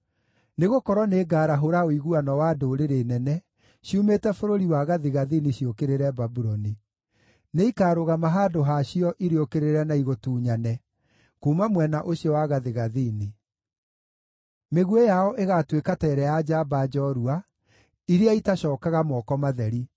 Nĩgũkorwo nĩngarahũra ũiguano wa ndũrĩrĩ nene, ciumĩte bũrũri wa gathigathini ciũkĩrĩre Babuloni. Nĩikarũgama handũ ha cio irĩũkĩrĩre na igũtunyane, kuuma mwena ũcio wa gathigathini. Mĩguĩ yao ĩgaatuĩka ta ĩrĩa ya njamba njoorua, iria itacookaga moko matheri.